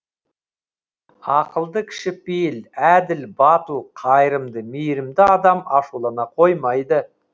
ақылды кішіпейіл әділ батыл қайырымды мейірімді адам ашулана қоймайды